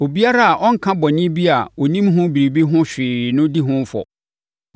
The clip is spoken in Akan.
“ ‘Obiara a ɔnka bɔne bi a ɔnim ho biribi ho hwee no di ho fɔ.